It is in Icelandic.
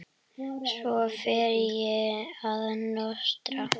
Svo fer ég að nostra.